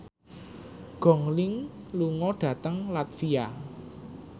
Gong Li lunga dhateng latvia